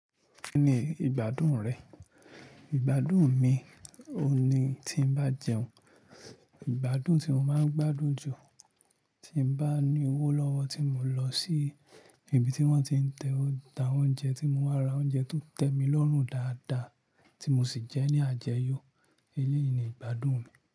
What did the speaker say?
Kí ni ìgbádùn rẹ? Ìgbádùn mi òhun ni tí n bá jẹun. Ìgbádùn tí mo máa ń gbádùn jù, tí mo bá ní owó lọ́wọ́ tí mò ń lọ sí ibi tí wọ́n ti ń ta oúnjẹ tí mo máa rà oúnjẹ tó tẹ́ mi lọ́run dáadáa tí mo sì jẹ ẹ́ ní àjẹyọ̀. Elẹ́yìí ni ìgbádùn mi.